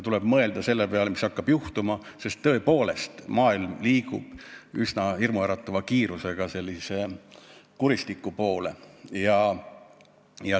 Tuleb mõelda selle peale, mis hakkab juhtuma, sest tõepoolest liigub maailm üsna hirmuäratava kiirusega kuristiku poole.